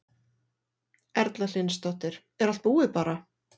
Erla Hlynsdóttir: Er allt búið bara?